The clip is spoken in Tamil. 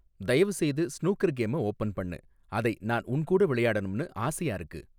தயவுசெய்து ஸ்னூக்கர் கேம ஓபன் பண்ணு, அதை நான் உன் கூட விளையாடணும்னு ஆசையா இருக்கு